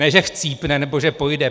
Ne že chcípne, nebo že pojde.